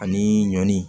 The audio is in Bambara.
Ani ɲɔ ni